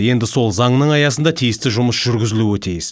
енді сол заңның аясында тиісті жұмыс жүргізілуі тиіс